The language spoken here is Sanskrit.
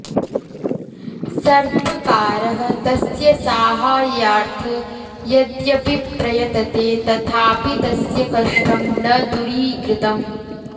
सर्वकारः तस्य साहाय्यार्थ यद्यपि प्रयतते तथापि तस्य कष्टं न दुरीकृतम्